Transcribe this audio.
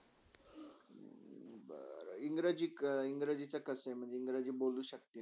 इंग्रजी, इंग्रजी कसा आहे इंग्रजी बोलू शक्ता ना?